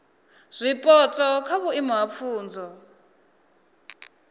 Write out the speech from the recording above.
zwipotso kha vhuimo ha pfunzo